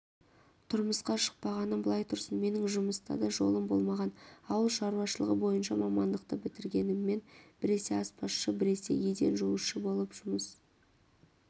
тұрмысқа шықпағаным былай тұрсын менің жұмыста да жолым болмаған ауыл шаруашылығы бойынша мамандықты бітіргеніммен біресе аспазшы біресе еден жуушы болып жұмыс